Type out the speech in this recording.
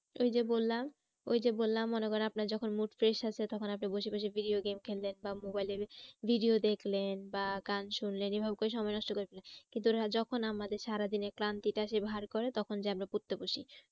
ওই যে বললাম, ওই যে বললাম মনে করেন আপনার যখন mood fresh আছে তখন আপনি বসে বসে video game খেললেন বা mobile এর video দেখলেন বা গান শুনলেন এরকম করে সময় নষ্ট যখন আমাদের সারাদিনের ক্লান্তিটা এসে ভার করে তখন যেয়ে আমরা পড়তে বসি।